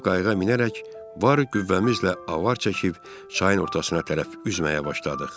Hoppanıb qayığa minərək var qüvvəmizlə avar çəkib çayın ortasına tərəf üzməyə başladıq.